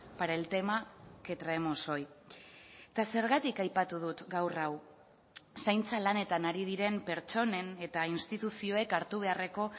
para el tema que traemos hoy eta zergatik aipatu dut gaur hau zaintza lanetan ari diren pertsonen eta instituzioek hartu beharreko